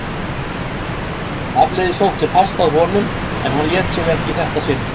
Hafliði sótti fast að honum en hann lét sig ekki í þetta sinn.